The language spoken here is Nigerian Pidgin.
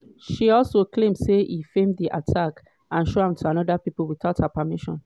she also claim say e feem di attack and show am to oda pipo witout her permission.